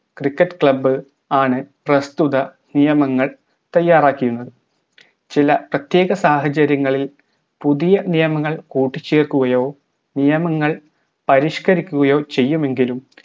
cricket club ആണ് പ്രസ്തുത നിയമങ്ങൾ തയ്യാറാക്കിയിരുന്നത് ചില പ്രത്യേക സാഹചര്യങ്ങളിൽ പുതിയ നിയമങ്ങൾ കൂട്ടിച്ചേർക്കുകയോ നിയമങ്ങൾ പരിഷ്‌ക്കരിക്കുകയോ ചെയ്യുമെങ്കിലും